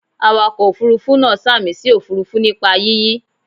Awakọ̀ Òfurufú náà sàmì sí òfuurufú nípa yíyí.